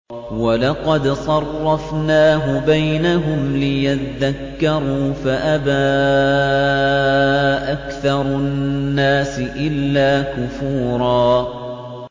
وَلَقَدْ صَرَّفْنَاهُ بَيْنَهُمْ لِيَذَّكَّرُوا فَأَبَىٰ أَكْثَرُ النَّاسِ إِلَّا كُفُورًا